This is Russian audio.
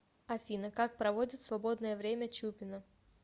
афина как проводит свободное время чупина